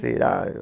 Será?